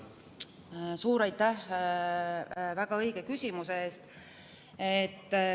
Suur aitäh väga õige küsimuse eest!